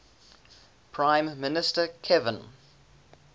prime minister kevin